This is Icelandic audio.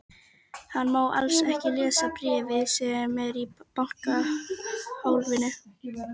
Hann má alls ekki lesa bréfið sem er í bankahólfinu.